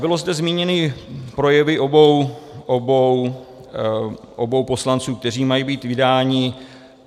Byly zde zmíněny projevy obou poslanců, kteří mají být vydáni.